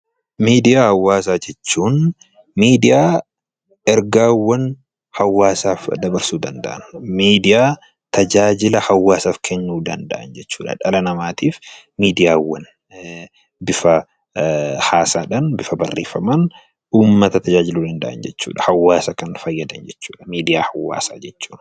Miidiyaa Hawaasaa jechuun miidiyaa ergaawwan hawaasaaf dabarsuu danda'an, miidiyaa tajaajila hawaasaaf kennuu danda'an jechuu dha. Dhala namaatiif miidiyaawwan bifa haasaa dhaan, bifa barreeffamaan uummata tajaajiluu danda'an jechuu dha. Hawaasa kan fayyadan jechuu dha 'Miidiyaa Hawaasaa' jechuun.